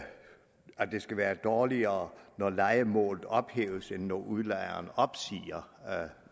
det skal være dårligere når lejemålet ophæves end når udlejeren opsiger